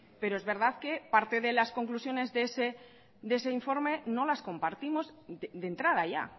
pero es verdad que parte de las conclusiones de ese informe no las compartimos de entrada ya